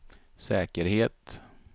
säkerhet